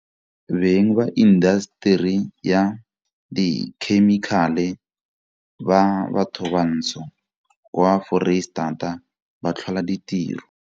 Beng ba indaseteri ya dikhemikhale ba bathobantsho kwa Foreisetata ba tlhola ditiro.